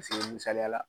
misaliya la